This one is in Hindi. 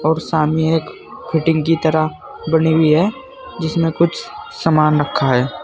और सामने एक फिटिंग की तरह बनी हुई है जिसमें कुछ सामान रखा है।